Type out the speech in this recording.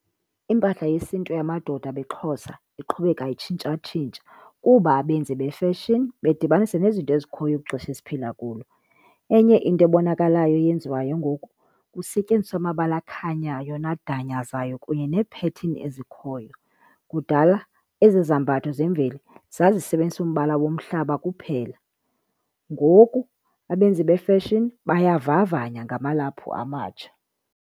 Impahla yesintu yamadoda abeXhosa iqhubeka itshintshatshintsha kuba abenzi befeshini bedibanisa nezinto ezikhoyo kwixesha esiphila kulo. Enye into ebonakalayo eyenziwayo ngoku, kusetyenziswa amabala akhanyayo nadanyazayo kunye neephethini ezikhoyo. Kudala ezi zambatho zemveli zazisebenzisa umbala womhlaba kuphela, ngoku abenzi befeshini bayavavanya ngamalaphu amatsha.